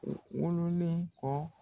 O wololen kɔ